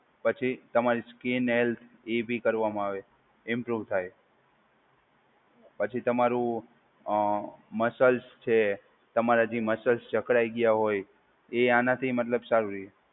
પછી તમારી skin health એ બી કરવામાં આવે. એમ જોવ થાય. પછી તમારું અ મસલ્સ છે તમારા જે મસલ્સ જકડાઈ ગયા હોય એ આનાથી મતલબ સારું રહે.